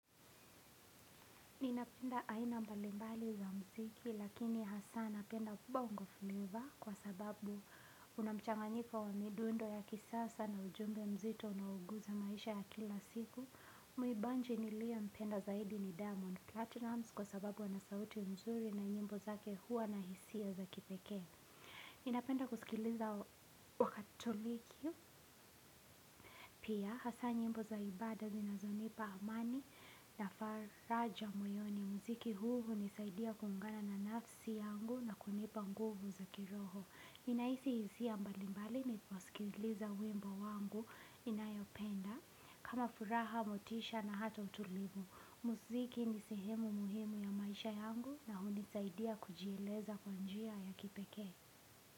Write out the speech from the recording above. Ninapenda aina mbalimbali za muziki lakini hasa napenda bongo flavor kwa sababu una mchanganika wa midundo ya kisasa na ujumbe mzito unaoguza maisha ya kila siku. Mwimbaji niliyempenda zaidi ni diamond platinum kwa sababu ana sauti nzuri na nyimbo zake huwa na hisia za kipekee. Ninapenda kusikiliza Wakatoliki pia hasa nyimbo za ibada zinazonipa amani na faraja moyoni. Muziki huu hunisaidia kuungana na nafsi yangu na kunipa nguvu za kiroho. Ninahisi hisia mbalimbali niposikiliza wimbo wangu ninayopenda. Hata furaha motisha na hata utulivu. Muziki ni sehemu muhimu ya maisha yangu na hunisaidia kujieleza kwa njia ya kipekee.